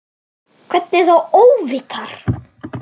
Hvernig þá óvitar?